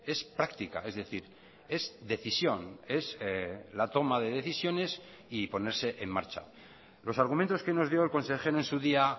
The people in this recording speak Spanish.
es práctica es decir es decisión es la toma de decisiones y ponerse en marcha los argumentos que nos dio el consejero en su día